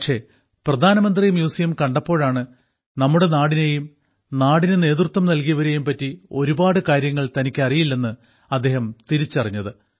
പക്ഷേ പ്രധാനമന്ത്രി മ്യൂസിയം കണ്ടപ്പോഴാണ് നമ്മുടെ നാടിനെയും നാടിനു നേതൃത്വം നൽകിയവരെയും പറ്റി ഒരുപാട് കാര്യങ്ങൾ തനിക്കറിയില്ലെന്ന് അദ്ദേഹം തിരിച്ചറിഞ്ഞത്